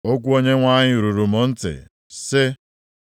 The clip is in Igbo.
Okwu Onyenwe anyị ruru m ntị, sị,